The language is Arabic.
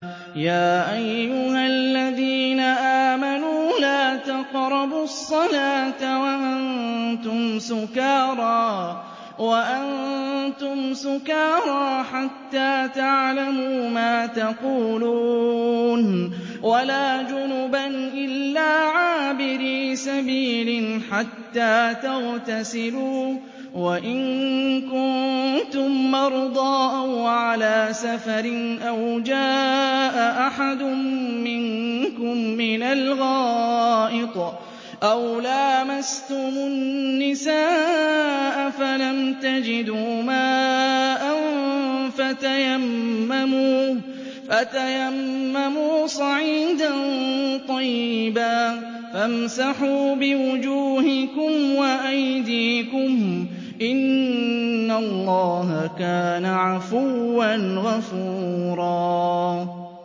يَا أَيُّهَا الَّذِينَ آمَنُوا لَا تَقْرَبُوا الصَّلَاةَ وَأَنتُمْ سُكَارَىٰ حَتَّىٰ تَعْلَمُوا مَا تَقُولُونَ وَلَا جُنُبًا إِلَّا عَابِرِي سَبِيلٍ حَتَّىٰ تَغْتَسِلُوا ۚ وَإِن كُنتُم مَّرْضَىٰ أَوْ عَلَىٰ سَفَرٍ أَوْ جَاءَ أَحَدٌ مِّنكُم مِّنَ الْغَائِطِ أَوْ لَامَسْتُمُ النِّسَاءَ فَلَمْ تَجِدُوا مَاءً فَتَيَمَّمُوا صَعِيدًا طَيِّبًا فَامْسَحُوا بِوُجُوهِكُمْ وَأَيْدِيكُمْ ۗ إِنَّ اللَّهَ كَانَ عَفُوًّا غَفُورًا